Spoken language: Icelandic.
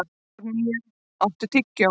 Árnína, áttu tyggjó?